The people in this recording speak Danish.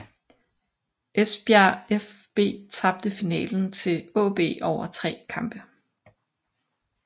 Esbjerg fB tabte finalen til AaB over tre kampe